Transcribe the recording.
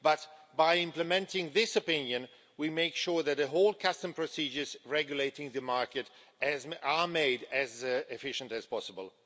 But by implementing this opinion, we make sure that the whole custom procedures regulating the market are made as efficient as possible.